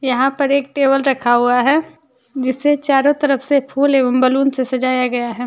यहां पर एक टेबल रखा हुआ है जिससे चारों तरफ से फूल एवं बैलून से सजाया गया है।